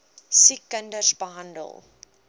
siek kinders beland